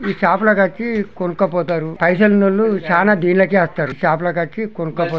ఈ సాపలకకి కొనుక్కపోతారు పైసల్ ఉన్నోళ్లు సాన దిళ్ళకే ఏస్తారు సప్లకాకీ కొనుక్కుపో --